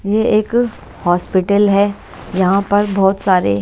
ये एक हॉस्पिटल है यहां पर बहुत सारे--